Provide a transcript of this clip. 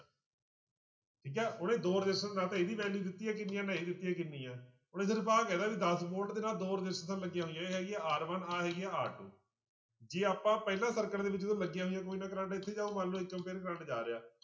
ਠੀਕ ਹੈ ਉਹਨੇ ਦੋ resistance ਨਾ ਤਾਂ ਇਹਦੀ value ਦਿੱਤੀ ਹੈ ਕਿੰਨੀ ਹੈ ਨਾ ਇਹਦੀ ਦਿੱਤੀ ਆ ਕਿੰਨੀ ਹੈ, ਉਹਨੇ ਸਿਰਫ਼ ਆਹ ਕਿਹਾ ਦਸ volte ਦੇ ਨਾਲ ਦੋ ਰਸਿਸਟੈਂਸਾਂ ਲੱਗੀਆਂ ਹੋਈਆਂ, ਇਹ ਹੈਗੀ ਆ r one ਆਹ ਹੈਗੀ ਹੈ r two ਜੇ ਆਪਾਂ ਪਹਿਲਾਂ circuit ਦੇ ਵਿੱਚ ਜਦੋਂ ਲੱਗੀਆਂ ਹੋਈਆਂ ਕੋਈ ਨਾ ਕਰੰਟ ਇੱਥੇ ਜਾਊ ਮੰਨ ਲਓ ਕਰੰਟ ਜਾ ਰਿਹਾ।